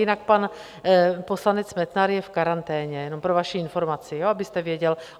Jinak pan poslanec Metnar je v karanténě, jen pro vaši informaci, abyste věděl.